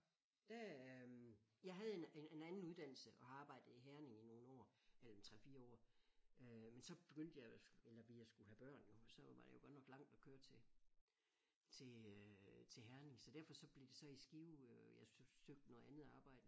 Da jeg havde en en anden uddannelse og har arbejdet i Herning i nogle år eller en 3 4 år øh men så begyndte jeg eller vi at skulle have have børn jo så var det jo godt nok langt at køre til til øh til Herning så derfor så blev det så i Skive øh jeg søgt søgte noget andet arbejde